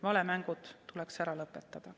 Valemängud tuleks ära lõpetada.